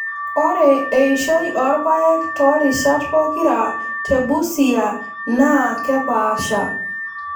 Ore eishoi oorpaek too rishat pokira te Busia NAA kepaasha.